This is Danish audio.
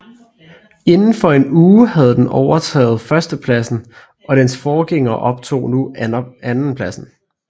Inden for en uge havde den overtaget førstepladsen og dens forgænger optog nu andenpladsen